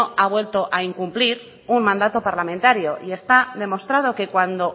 ha vuelto a incumplir un mandato parlamentario y está demostrado que cuando